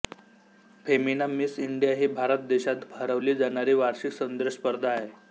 Femina Miss India ही भारत देशात भरवली जाणारी वार्षिक सौंदर्य स्पर्धा आहे